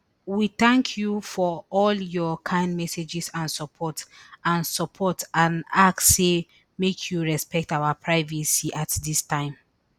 we tank you for all your kind messages and support and support and ask say make you respect our privacy at dis time